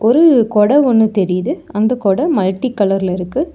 ஒரு கொட ஒன்னு தெரிது அந்த கொட மல்டி கலர்ல இருக்கு.